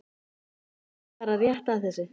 Við skulum fara rétt að þessu.